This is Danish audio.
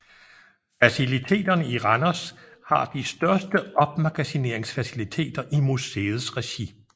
Faciliteterne i Randers har de største opmagasineringsfaciliteter i museets regi